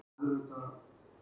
Ertu nokkuð hræddur?